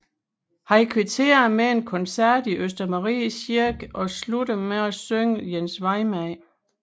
Han kvitterede med en koncert i Østermarie Kirke og sluttede med at synge Jens Vejmand